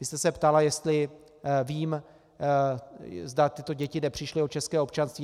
Vy jste se ptala, jestli vím, zda tyto děti nepřišly o české občanství.